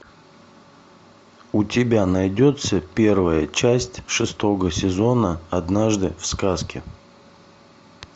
у тебя найдется первая часть шестого сезона однажды в сказке